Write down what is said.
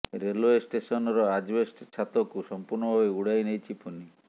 railway ଷ୍ଟେସନର asbestos ଛାତକୁ ସମ୍ପୂର୍ଣ୍ଣ ଭାବେ ଉଡାଇ ନେଇଛି ଫୋନି